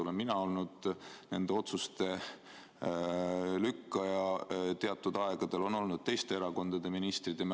Olen mina olnud nende otsuste lükkaja teatud aegadel ja on olnud ka teiste erakondade ministrid.